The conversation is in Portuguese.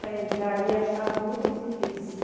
Para entrar aí, achava muito difícil.